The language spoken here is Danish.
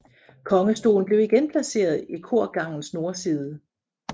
Kongestolen blev igen placeret i korgangens nordside